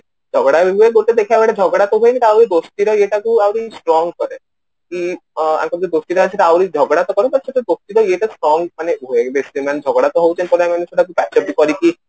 ଝଗଡା ବି ହୁଏ ଗୋଟେ ଦେଖିବାକୁ ଏଠି ଝଗଡା ତ ହୁଏନି କାହାକୁ ଦୋସ୍ତି ର ଇଏଟାକୁ ଆହୁରି strong କରେ କି ଅ ୟାଙ୍କ ଭିତରେ ଦୋସ୍ତି ଟା ଅଛି ଆହୁରି ଝଗଡା ତ କରେ but ସେଥିରେ ଦୋସ୍ତିର ଇଏଟା strong ମାନେ ହୁଏ ଝଗଡା ତ ହଉଛି ସେଇଟା ମାନେ ସେଇଟାକୁ patch up କରିକି